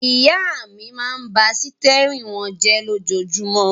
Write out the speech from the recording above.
Ìyá mi máa ń bá sítẹ́rínì wọn jẹ lójoojúmọ́.